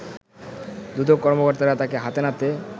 দুদক কর্মকর্তারা তাকে হাতে নাতে